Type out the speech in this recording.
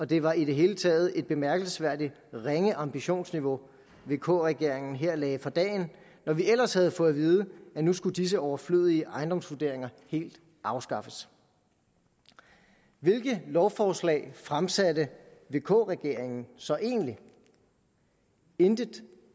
det var i det hele taget et bemærkelsesværdigt ringe ambitionsniveau vk regeringen her lagde for dagen når vi ellers havde fået vide at nu skulle disse overflødige ejendomsvurderinger helt afskaffes hvilket lovforslag fremsatte vk regeringen så egentlig intet